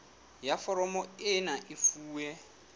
ya foromo ena e fuwe